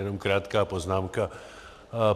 Jenom krátká poznámka.